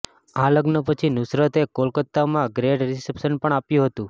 આ લગ્ન પછી નુસરત એ કોલકાતા માં ગ્રેંડ રીસેપ્શન પણ આપ્યું હતું